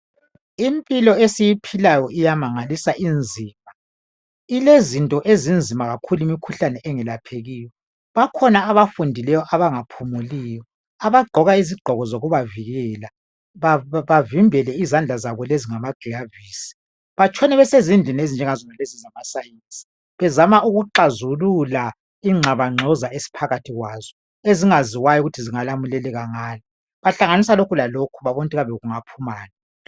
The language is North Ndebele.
Impilo esiyiphilayo iyamangalisa inzima. llezinto ezinzima kakhulu imikhuhlane engelaphekiyo. Bakhona abafundileyo abangaphumuliyo. Abagqoka izigqoko zokubavikela bavimbele izandla zabo lezi ngamagilavisi. Batshona besezindlini ezinjenga zona lezi zamasayinzi bezama ukuxazulula ingxabangxoza esiphakathi kwazo ezingaziwayo ukuthi zingalamleleka ngani. Bahlanganisa lokhu lalokhu babone ukuthi kambe kungaphumani.